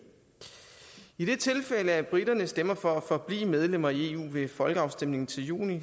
i det tilfælde at briterne stemmer for at forblive medlem af eu ved folkeafstemningen til juni